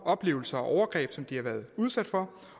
oplevelser og overgreb som de har været udsat for